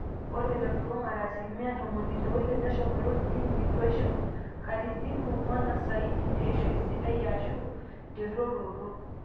ore telulung'ata aslimia ntomoni ile oile neshumoita clinic etaushu katitin ong'wan osaidi teishoi sidai aashu terruoroto